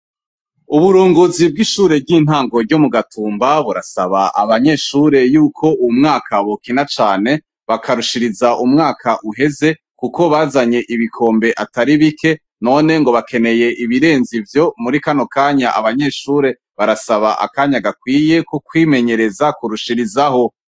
Uburunguzi bw'ishure ry'intango ryo mu gatumba burasaba abanyeshure yuko umwaka bukina cane bakarushiriza umwaka uheze, kuko bazanye ibikombe atari bike none ngo bakeneye ibirenze vyo muri kano kanya abanyeshure barasaba akanya gakwiye kukwimenyereza kurusharia izaho.